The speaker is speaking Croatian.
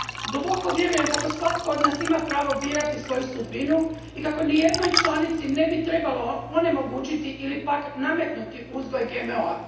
Duboko vjerujem da svatko od nas ima pravo birati svoju sudbinu i kako nijednoj članici ne bi trebalo onemogućiti ili pak nametnuti uzgoj GMO a.